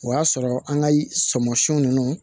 O y'a sɔrɔ an ka sɔmisiw ninnu